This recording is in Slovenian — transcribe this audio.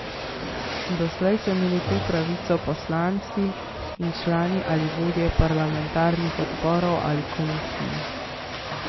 Doslej so imeli to pravico poslanci in člani ali vodje parlamentarnih odborov ali komisij.